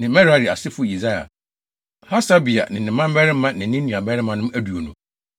ne Merari asefo Yesaia, Hasabia ne ne mmabarima ne ne nuabarimanom aduonu